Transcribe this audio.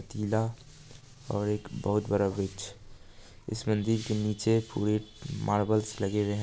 पतीला और एक बहुत बड़ा वृक्षइस मंदिर के नीचे पूरे मार्बल्स लगे हुए है।